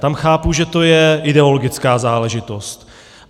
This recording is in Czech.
Tam chápu, že to je ideologická záležitost.